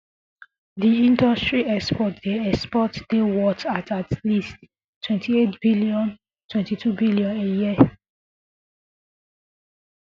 di industry exports dey exports dey worth at least twenty eight billion twenty two billion a year